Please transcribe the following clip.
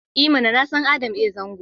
I mana! Na san Adam A Zango.